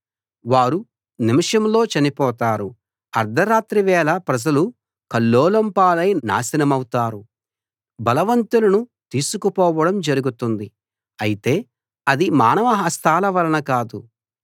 వారు నిమిషంలో చనిపోతారు అర్థరాత్రి వేళ ప్రజలు కల్లోలం పాలై నాశనమౌతారు బలవంతులను తీసుకు పోవడం జరుగుతుంది అయితే అది మానవ హస్తాల వలన కాదు